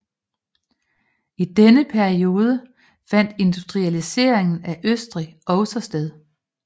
I denne periode fandt industrialiseringen af Østrig også sted